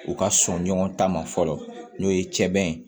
U ka sɔn ɲɔgɔn ta ma fɔlɔ n'o ye sɛbɛn ye